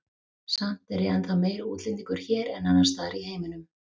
Samt er ég ennþá meiri útlendingur hér en annars staðar í heiminum.